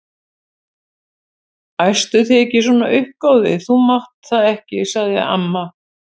Æstu þig ekki svona upp góði, þú mátt það ekki sagði amma.